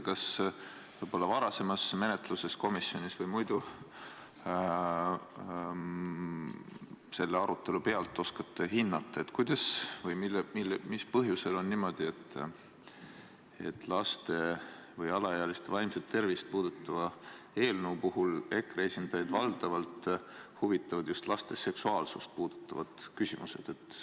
Kas te oskate hinnata – võib-olla komisjonis toimunud varasema menetluse või siinse arutelu pealt –, kuidas või mis põhjusel on niimoodi, et laste, alaealiste vaimset tervist puudutava eelnõu puhul huvitavad EKRE esindajaid valdavalt just laste seksuaalsust puudutavad küsimused?